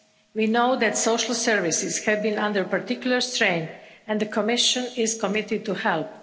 We know that social services have been under particular strain and the Commission is committed to help.